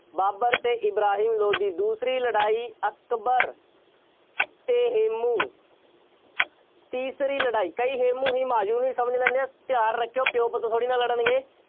ਬਾਬਰ ਅਤੇ ਇਬਰਾਹਿਮ ਲੋਧੀ, ਦੂਸਰੀ ਲੜਾਈ ਅਕਬਰ ਅਤੇ ਹੇਮੂੰ, ਤੀਸਰੀ ਲੜਾਈ ਕਈ ਹੇਮੂੰ ਹਿਮਾਯੂੰ ਵੀ ਸਮਝ ਲੈਂਦੇ ਹਾਂ, ਧਿਆਨ ਰੱਖਿਓ ਪਿਉ-ਪੁੱਤ ਥੋੜ੍ਹੀ ਨਾ ਲੜਨਗੇ।